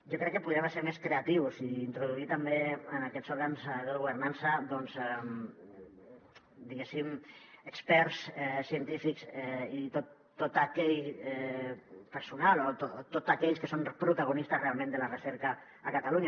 jo crec que podríem ser més creatius i introduir també en aquests òrgans de governança diguéssim experts científics i tot aquell personal o tots aquells que són protagonistes realment de la recerca a catalunya